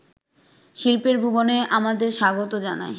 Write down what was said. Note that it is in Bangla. শিল্পের ভুবনে আমাদের স্বাগত জানায়